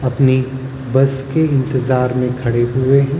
अपनी बस के इंतजार में खड़े हुए हैं ।